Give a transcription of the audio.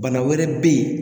Bana wɛrɛ bɛ yen